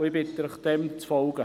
Ich bitte Sie, dem zu folgen.